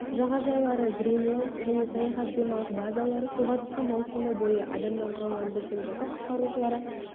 жағажайлары гринлэнд және саяхат демалыс базалары суға түсу маусымы бойы адамнан құралған біздің жасақ құтқарушылары